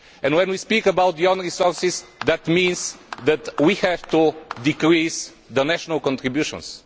When we speak about own resources, this means that we have to decrease national contributions.